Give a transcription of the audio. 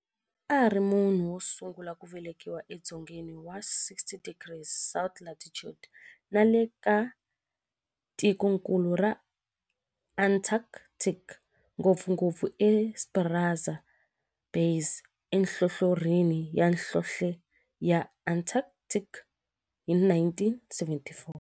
A ri munhu wosungula ku velekiwa e dzongeni wa 60 degrees south latitude nale ka tikonkulu ra Antarctic, ngopfungopfu eEsperanza Base enhlohlorhini ya nhlonhle ya Antarctic hi 1978.